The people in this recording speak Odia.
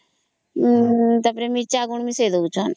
ତା ପରେ ମିରଚା ଗୁଣ୍ଡ ବି ମିଶେଇ ଦଉଛନ